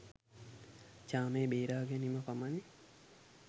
ජාමේ බේරා ගැනීම පමණි